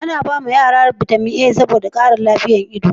ana ba ma yara bitamin a saboda kara lafiyan ido